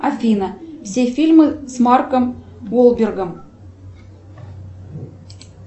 афина все фильмы с марком болбергом